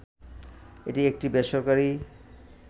এটি একটি বেসরকারী